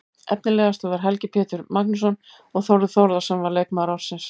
Efnilegastur var Helgi Pétur Magnússon og Þórður Þórðarson var leikmaður ársins.